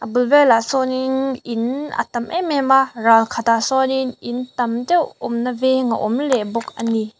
bul velah sawnin in a tam em em a ralkhatah sawn in in tam deuh awmna veng a awm leh bawk a ni.